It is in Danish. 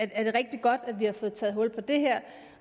det rigtig godt at vi har fået taget hul på det her